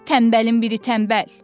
Tənbəlin biri tənbəl.